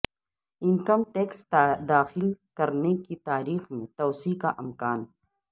income tax داخل کرنے کی تاریخ میں توسیع کا امکان